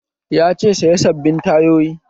Ya ce 'Saya sabbin tayoyi'!